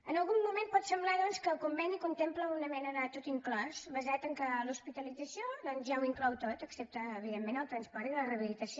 en algun moment pot semblar doncs que el conveni contempla una mena de tot inclòs basat en el fet que l’hospitalització doncs ja ho inclou tot excepte evidentment el transport i la rehabilitació